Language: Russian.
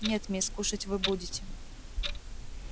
нет мисс кушать вы будете